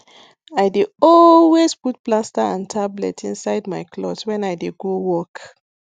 i dey always put plaster and tablet inside my cloth when i dey go work